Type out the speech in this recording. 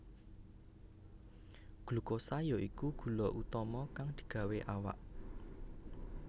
Glukosa ya iku gula utama kang digawé awak